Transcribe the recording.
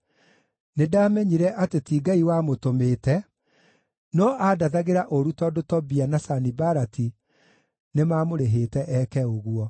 Nĩndamenyire atĩ ti Ngai wamũtũmĩte, no aandathagĩra ũũru tondũ Tobia na Sanibalati nĩmamũrĩhĩte eke ũguo.